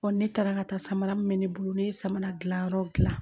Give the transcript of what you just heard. ne taara ka taa samara mun bɛ ne bolo ne ye samara dilanyɔrɔ dilan